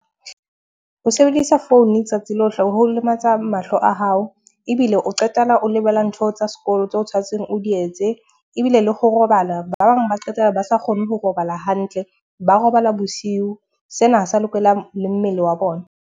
Ho sebedisa founu tsatsi lohle ho lematsa mahlo a hao ebile o qetella o lebala ntho tsa sekolo tse tshwantseng o di etse. Ebile le ho robala ba bang ba qetella ba sa kgone ho robala hantle, ba robala bosiu. Sena ha se a lokela le mmele wa bona.